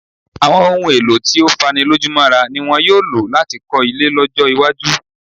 Àwọn ohun-èèlò tí ó fanilójúmọ́ra ni wọn yóò lò láti kọ́ ilé lọ́jọ́-iwájú.